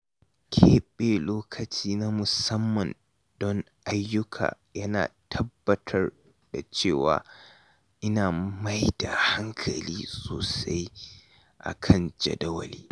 Keɓe lokaci na musamman don ayyuka yana tabbatar da cewa ina mai da hankali sosai a kan jadawali.